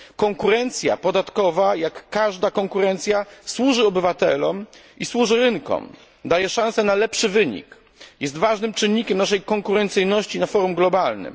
Konkurencja podatkowa jak każda konkurencja, służy obywatelom i służy rynkom, daje szanse na lepszy wynik, jest ważnym czynnikiem naszej konkurencyjności na forum globalnym.